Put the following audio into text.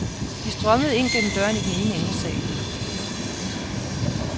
De strømmede ind gennem døren i den ene ende af salen.